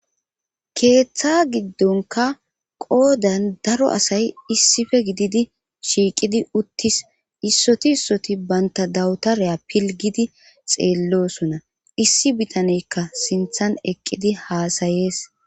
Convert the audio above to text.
keeththa giddonka qoodan daro asay issife gididi shiiqidi uttis issoti issoti banta dawutareya pilgidi xeellosona issi bitaneykka sinthan eqqidi haasayees